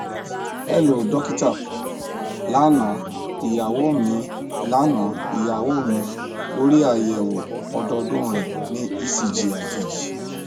hello dokita lana iyawo mi lana iyawo mi lori ayẹwo ọdọọdun rẹ ni ecg ajeji